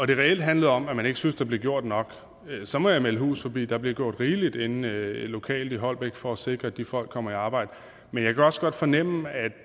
det reelt handlede om at man ikke synes der bliver gjort nok så må jeg melde hus forbi der bliver gjort rigeligt lokalt i holbæk for at sikre at de folk kommer i arbejde men jeg kan også godt fornemme at